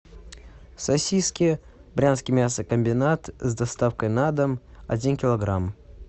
сосиски брянский мясокомбинат с доставкой на дом один килограмм